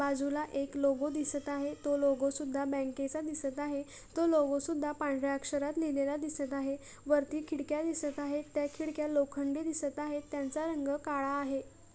बाजूला एक लोगो दिसत आहे तो लोगो सुद्धा बँकेचा दिसत आहे तो लोगो सुद्धा पांढर्‍या अक्षरात लिहिलेला दिसत आहे वरती खिडक्या दिसत आहे त्या खिडक्या लोखंडी दिसत आहेत त्यांचा रंग काळा आहे.